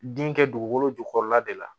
Den kɛ dugukolo jukɔrɔla de la